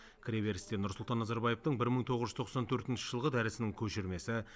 кіреберісте нұрсұлтан назарбаевтың бір мың тоғыз жүз тоқсан төртінші жылғы дәрісінің көшірмесі